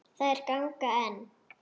Þær ganga enn.